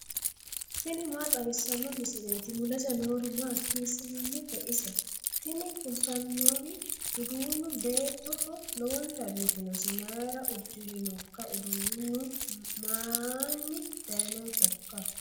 tini maa xawissanno misileeti ? mulese noori maati ? hiissinannite ise ? tini kultannori uduunnu beettoho lowonta biifinosi mayra udirinoikka uduunnu maiinni dayinohoikka